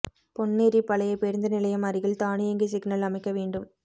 பொன்னேரி பழைய பேருந்து நிலையம் அருகில் தானியங்கி சிக்னல் அமைக்க வேண்டும்